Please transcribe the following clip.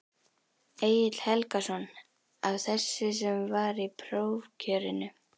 Egill Helgason: Af þessu sem var í prófkjörinu?